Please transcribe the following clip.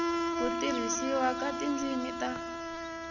ku tirhisiwa ka tindzimi ta